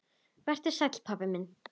Vertu sæll, pabbi minn.